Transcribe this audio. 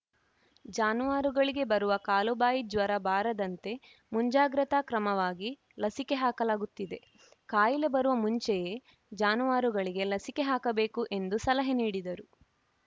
ಜಾನುವಾರುಗಳಿಗೆ ಬರುವ ಕಾಲುಬಾಯಿ ಜ್ವರ ಬಾರದಂತೆ ಮುಂಜಾಗೃತಾ ಕ್ರಮವಾಗಿ ಲಸಿಕೆ ಹಾಕಲಾಗುತ್ತಿದೆ ಕಾಯಿಲೆ ಬರುವ ಮುಂಚೆಯೇ ಜಾನುವಾರುಗಳಿಗೆ ಲಸಿಕೆ ಹಾಕ ಬೇಕು ಎಂದು ಸಲಹೆ ನೀಡಿದರು